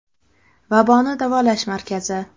Vaboni davolash markazi.